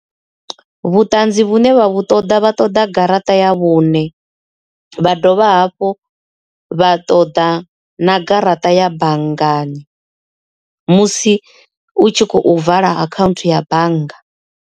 Vhuṱanzi vhune vha vhu ṱoḓa vha ṱoḓa garaṱa ya vhune vha dovha hafhu vha ṱoda na garaṱa ya banngani musi u tshi khou vala akhaunthu ya bannga.